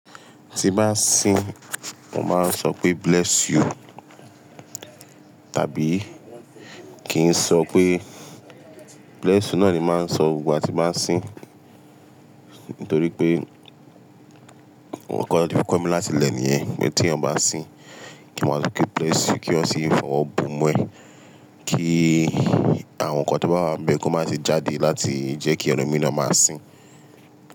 Tí n bá sín, mo máa ń sọ pé bless you tàbí kì n sọ pé bless you náà ni máa ń sọ gbogbo igba tí n bá sín. Nítorí pé wọn kọ́ mi láti lẹ́ níyẹn pé tíyan ba ń sín kí yan máa sọ pé bless you kí yan sì fi ọwọ bomú ẹ, kí àwọn ǹkan tó bá wá bẹ́ kan má se jáde láti jẹ́ kí ẹlòmíràn má sín.